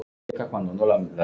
LÁRUS: Lækninn yðar?